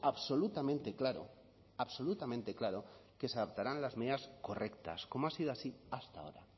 absolutamente claro absolutamente claro que se adoptarán las medidas correctas como ha sido así hasta ahora